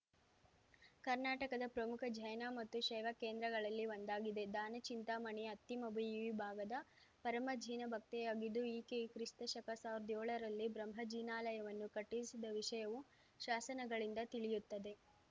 ಕರ್ನಾಟಕದ ಪ್ರಮುಖ ಜೈನ ಮತ್ತು ಶೈವ ಕೇಂದ್ರಗಳಲ್ಲಿ ಒಂದಾಗಿದೆ ದಾನಚಿಂತಾಮಣಿ ಅತ್ತಿಮಬ್ಬೆಯು ಈ ಭಾಗದ ಪರಮ ಜಿನ ಭಕ್ತೆಯಾಗಿದ್ದು ಈಕೆಯು ಕ್ರಿಸ್ತಶಕಸಾವ್ರ್ದಾ ಏಳ ರಲ್ಲಿ ಬ್ರಹ್ಮಜಿನಾಲಯವನ್ನು ಕಟ್ಟಿಸಿದ ವಿಷಯವು ಶಾಸನಗಳಿಂದ ತಿಳಿಯುತ್ತದೆ